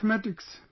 Mathematics